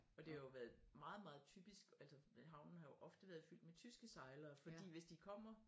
Og det har jo været meget meget typisk altså havnen har jo ofte været fyldt med tyske sejlere fordi hvis de kommer